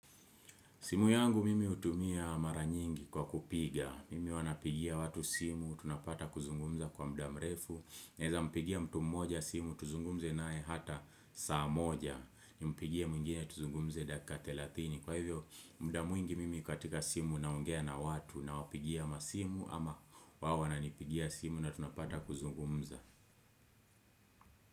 Simu yangu mimi hutumia maranyingi kwa kupiga, mimi huwa napigia watu simu, tunapata kuzungumza kwa mudamrefu, naweza mpigia mtu mmoja simu, tuzungumze nae hata saa moja, ni mpigia mwingine tuzungumze dakika thelatini, kwa hivyo mudamwingi mimi katika simu na naongea na watu na wapigia ama simu ama hawa nanipigia simu na tunapata kuzungumza.